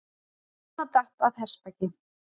Kona datt af hestbaki